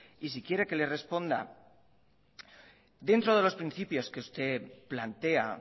y si quiere que le responda dentro de los principios que usted plantea